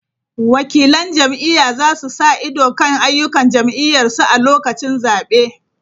Wakilan jam’iyya za su sa ido kan ayyukan jam’iyyarsu a lokacin zabe.